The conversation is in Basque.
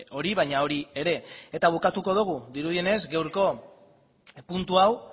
hori baina hori ere eta bukatuko dugu dirudienez gaurko puntu hau